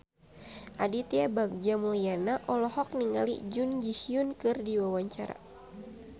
Aditya Bagja Mulyana olohok ningali Jun Ji Hyun keur diwawancara